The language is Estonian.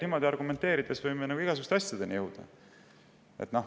Niimoodi argumenteerides võime igasuguste asjadeni jõuda.